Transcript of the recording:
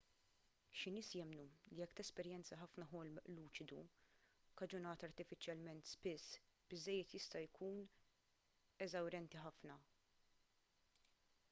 xi nies jemmnu li jekk tesperjenza ħafna ħolm luċidu kkaġunat artifiċjalment spiss biżżejjed jista' jkun eżawrjenti ħafna